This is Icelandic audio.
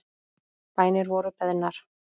Bænir voru beðnar.